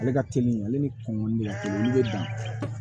Ale ka teli ale ni kumuni a k'olu bɛ bin